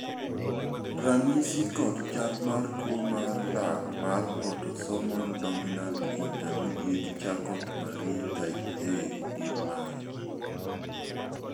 ranyisi kod chal mar tuo mar lak mar Autosomal dominant intermediate Charcot Marie type A gin mage ?